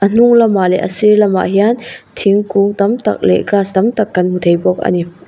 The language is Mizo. hnunglamah leh a sir lamah hian thingkung tam tak leh grass tam tak kan hmu thei bawk a ni.